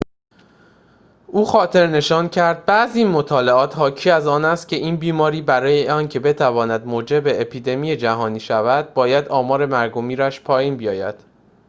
او خاطرنشان کرد بعضی مطالعات حاکی از آن است که این بیماری برای اینکه بتواند موجب اپیدمی جهانی شود باید آمار مرگ و میرش پایین بیاید